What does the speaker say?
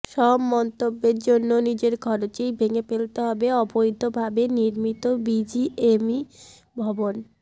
সব মন্তব্যের জন্য নিজের খরচেই ভেঙে ফেলতে হবে অবৈধভাবে নির্মিত বিজিএমইএ ভবন